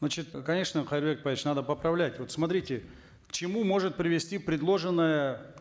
значит конечно кайырбек айтбаевич надо поправлять вот смотрите к чему может привести предложенная